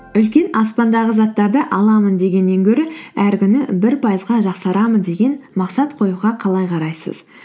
үлкен аспандағы заттарды аламын дегеннен гөрі әр күні бір пайызға жақсарамын деген мақсат қоюға қалай қарайсыз